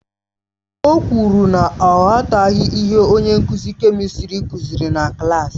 O kwuru na ọ aghọtaghị ihe onye nkuzi kèmistrị kuziri na klaasị.